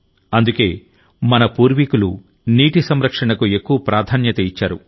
అందుకే మన పూర్వీకులు నీటి సంరక్షణకు ఎక్కువ ప్రాధాన్యత ఇచ్చారు